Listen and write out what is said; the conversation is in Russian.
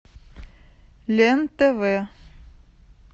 лен тв